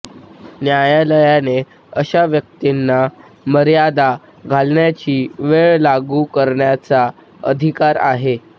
न्यायालयाने अशा व्यक्तींना मर्यादा घालण्याची वेळ लागू करण्याचा अधिकार आहे